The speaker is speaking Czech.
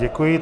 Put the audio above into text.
Děkuji.